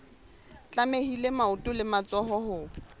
tlamehile maoto le matsoho ho